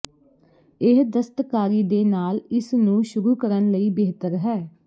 ਇਹ ਦਸਤਕਾਰੀ ਦੇ ਨਾਲ ਇਸ ਨੂੰ ਸ਼ੁਰੂ ਕਰਨ ਲਈ ਬਿਹਤਰ ਹੈ